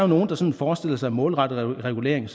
nogle der sådan forestiller sig målrettet regulering